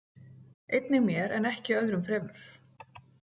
Einnig mér en ekki öðrum fremur.